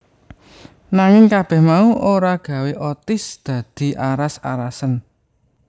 Nanging kabeh mau ora gawé Otis dadi aras arasen